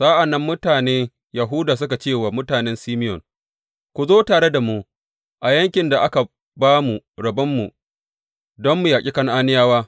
Sa’an nan mutane Yahuda suka ce wa mutanen Simeyon Ku zo tare da mu a yankin da aka ba mu rabon mu don mu yaƙi Kan’aniyawa.